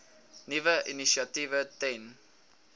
nuwe initiatiewe ten